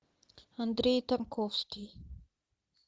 андрей тарковский